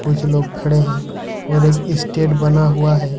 कुछ लोग खड़े हैं और एक स्टेड बना हुआ है।